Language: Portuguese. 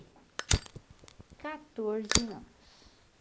catorze anos.